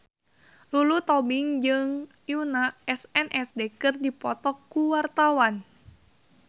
Lulu Tobing jeung Yoona SNSD keur dipoto ku wartawan